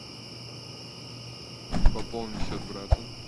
пополни счет брата